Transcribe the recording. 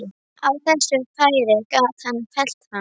Á þessu færi gat hann fellt hann.